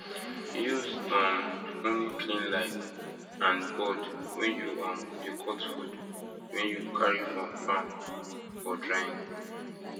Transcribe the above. use um only clean knife and board when you um dey cut food wen you carry from farm for drying